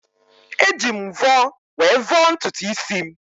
Eji m mvọ were vọọ ntutu isi m.